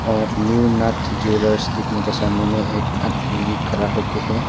और new Nath jewellers लिखने के सामने में एक आदमी भी खड़ा होके है।